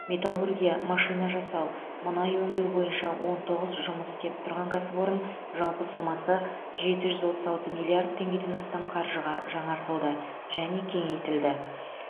металлургия машина жасау мұнай өңдеу бойынша он тоғыз жұмыс істеп тұрған кәсіпорын жалпы сомасы жеті жүз отыз алты миллард теңгеден астам қаржыға жаңартылды және кеңейтілді